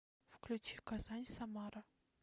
включи казань самара